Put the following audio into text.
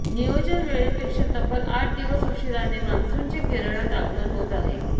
नियोजन वेळेपेक्षा तब्बल आठ दिवस उशिराने मान्सूनचे केरळात आगमन होत आहे